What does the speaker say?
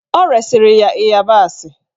Ọ resiri ya ịyabasị.